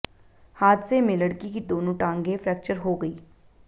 हादसे में लड़की की दोनों टांगें फ्रेक्चर हो गई